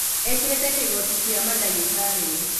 ekĩrĩte kĩgoti gĩa mandagĩtarĩ